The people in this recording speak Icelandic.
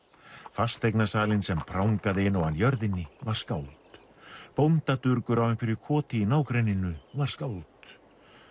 fasteignasalinn sem prangaði inn á hann jörðinni var skáld bóndadurgur á einhverju í nágrenninu var skáld